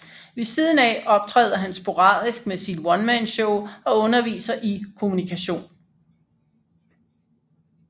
Ved siden af optræder han sporadisk med sit onemanshow og underviser i Kommunikation